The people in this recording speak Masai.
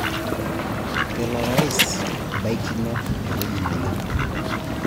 Kelo orais baikino ewueji nayieu